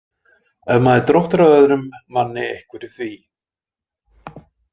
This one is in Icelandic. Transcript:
Ef maður dróttar að öðrum manni einhverju því.